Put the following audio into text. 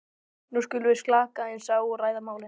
nú skulum við slaka aðeins á og ræða málin.